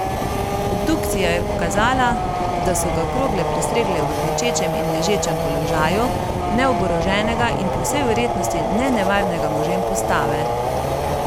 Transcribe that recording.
Obdukcija je pokazala, da so ga krogle prestregle v klečečem in ležečem položaju, neoboroženega in po vsej verjetnosti nenevarnega možem postave.